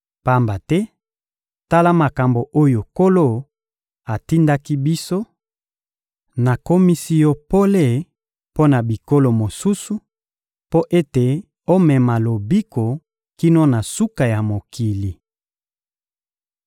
Pamba te, tala makambo oyo Nkolo atindaki biso: «Nakomisi yo pole mpo na bikolo mosusu, mpo ete omema lobiko kino na suka ya mokili.»